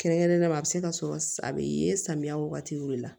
Kɛrɛnkɛrɛnnenya la a bɛ se ka sɔrɔ a bɛ ye samiya wagatiw de la